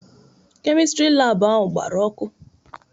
Kemịstri laabụ ahụ gbara ọkụ.